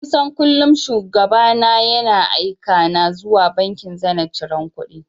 Kusan kullum Shugaba ne yana aika na zuwa bankin Zenith ciran kuɗi.